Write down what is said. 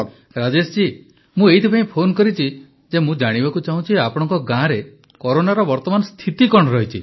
ପ୍ରଧାନମନ୍ତ୍ରୀ ରାଜେଶ ଜୀ ମୁଁ ଏଥିପାଇଁ ଫୋନ କରିଛି ଯେ ମୁଁ ଜାଣିବାକୁ ଚାହୁଁଛି ଆପଣଙ୍କ ଗାଁରେ କରୋନାର ବର୍ତ୍ତମାନ ସ୍ଥିତି କଣ ରହିଛି